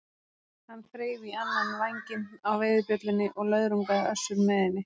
Hann þreif í annan vænginn á veiðibjöllunni og löðrungaði Össur með henni.